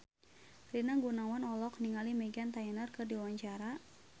Rina Gunawan olohok ningali Meghan Trainor keur diwawancara